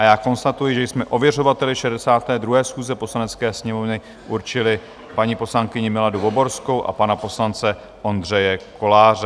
A já konstatuji, že jsme ověřovateli 62. schůze Poslanecké sněmovny určili paní poslankyni Miladu Voborskou a pana poslance Ondřeje Koláře.